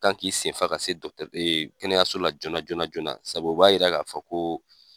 Kan k'i senfa ka se ee kɛnɛyaso la joona joonana joonana ,sabu o b'a yira ka fɔ ko